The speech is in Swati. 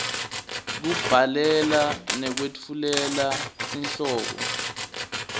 kubhalela nekwetfulela tinhlobo